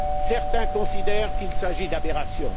Certains considèrent qu'il s'agit d'aberrations.